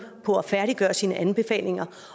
på at færdiggøre sine anbefalinger